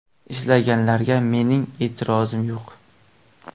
Ishlaganlarga mening e’tirozim yo‘q.